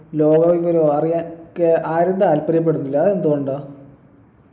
ലോക വിവരോ അറിയാൻ ക്കെ ആരും താല്പര്യപ്പെടുന്നില്ല അതെന്തുകൊണ്ടാ